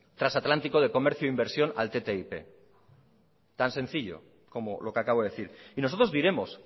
transatlántico de comercio e inversión al ttip tan sencillo como lo que acabo de decir y nosotros diremos